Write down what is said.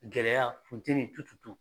Gɛlɛya funteni